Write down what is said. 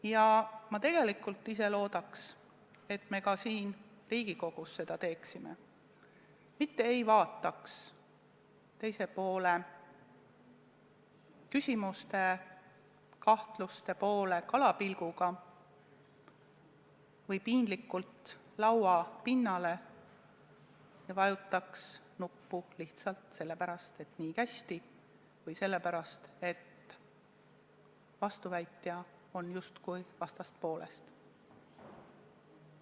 Ja ma tegelikult väga loodan, et me siin Riigikogus seda teeme, mitte ei vaata teise poole küsimuste-kahtluste peale kalapilguga või piinlikult lauapinnale, ei vajuta kindlat nuppu lihtsalt sellepärast, et nii kästi või sellepärast, et vastuväitja on justkui vastaspoolest.